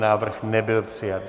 Návrh nebyl přijat.